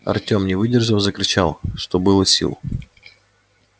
артем не выдержав закричал что было сил